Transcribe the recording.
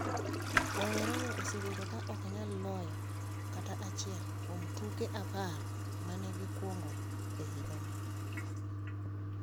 Rowere go osebedo ka ok nyal loyo kata achiel kuom tuke apar ma ne gikwongo e higa ni.